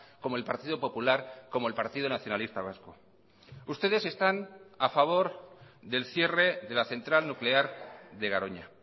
como el partido popular como el partido nacionalista vasco ustedes están a favor del cierre de la central nuclear de garoña